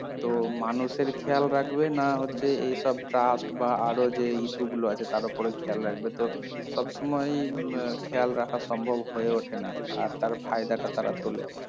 তো মানুষের খেয়াল রাখবে না হচ্ছে এইসব trust বা আরো যে issue গুলো আছে তার ওপরে খেয়াল রাখবে তো সবসময় উম খেয়াল রাখা সম্ভব হয়ে ওঠে না আর তার ফায়দাটা তারা তোলে